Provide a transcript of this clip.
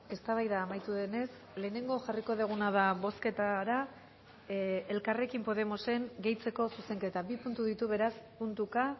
eztabaida amaitu denez lehenengo jarriko duguna da bozketara elkarrekin podemosen gehitzeko zuzenketa bi puntu ditu beraz puntuka